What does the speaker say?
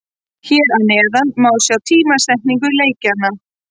Hér að neðan má sjá tímasetningu leikjanna.